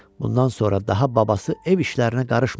Bundan sonra daha babası ev işlərinə qarışmırdı.